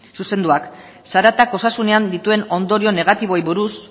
zuzenduak zaratak osasunean dituen ondorio negatiboei buruz